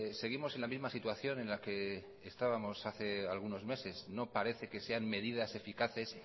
seguimos en la misma situación en la que estábamos hace algunos meses no parece que sean medidas eficaces